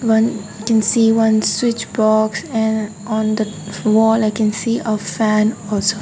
one can see one switch box and on the wall i can see a fan also.